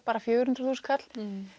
bara fjögur hundruð þúsund kall